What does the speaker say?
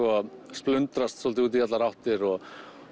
splundrast svolítið út í allar áttir og